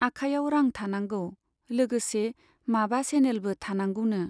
आखायाव रां थानांगौ , लोगोसे माबा सेनेलबो थानांगौनो।